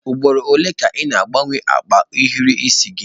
Ugboro ole ka ị na-agbanwe akpa ohiri isi gị?